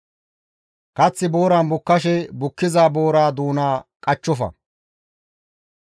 Kath booran bukkashe bukkiza boora doona qachchofa.